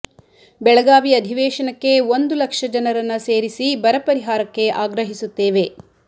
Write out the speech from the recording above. ಬೆಳಗಾವಿ ಅಧಿವೇಶನಕ್ಕೆ ಒಂದು ಲಕ್ಷ ಜನರನ್ನ ಸೇರಿಸಿ ಬರ ಪರಿಹಾರಕ್ಕೆ ಆಗ್ರಹಿಸುತ್ತೇವೆ